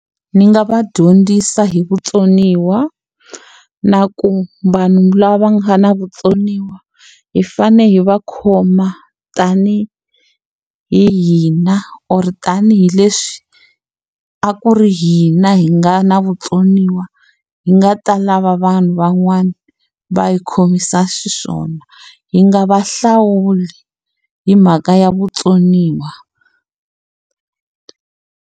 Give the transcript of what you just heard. Ni nga va dyondzisa hi vutsoniwa, na ku vanhu lava nga na vutsoniwa, hi fanele hi va khoma tanihi hina or tanihileswi a ku ri hina hi nga na vutsoniwa hi nga ta lava vanhu van'wana va hi khomisa xiswona. Hi nga va hlawuli hi mhaka ya vutsoniwa.